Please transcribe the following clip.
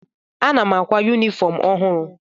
Ana m àkwá yunifọm ọhụrụ.